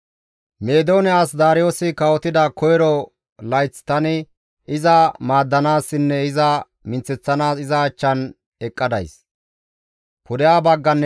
«Meedoone as Daariyoosi kawotida koyro layth tani iza maaddanaassinne iza minththeththanaas iza achchan eqqa days.